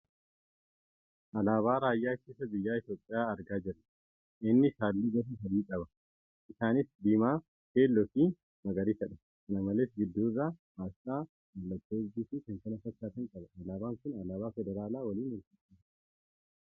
Alaabaa raayyaa ittisa biyyaa Itiyoophiyaa argaa jirra. Innis halluu gosa sadii qabi .Isaanis diimaa, keelloo fi magariisadha. Kana malees, gidduu irraa asxaa mallattoo urjii fi kan kana fakkaatan qaba. Alaabaan kun alaabaa federaalaa waliin wal fakkaata.